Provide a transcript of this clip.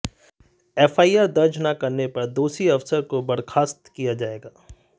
FIR दर्ज न करने पर दोषी अफसर को बर्खास्त किया जायेगा